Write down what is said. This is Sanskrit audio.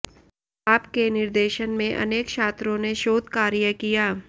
आप के निर्देशन में अनेक छात्रों ने शोध कार्य किया